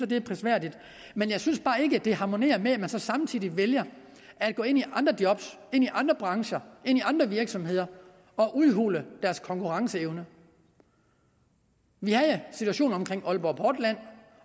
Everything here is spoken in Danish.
det er prisværdigt men jeg synes bare ikke det harmonerer med at man samtidig vælger at gå ind i andre job andre brancher andre virksomheder og udhule deres konkurrenceevne vi havde situationen om aalborg portland